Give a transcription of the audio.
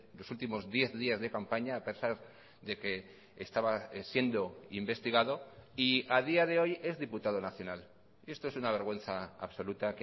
los últimos diez días de campaña a pesar de que estaba siendo investigado y a día de hoy es diputado nacional esto es una vergüenza absoluta